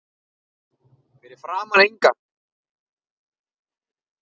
Fyrir framan inngang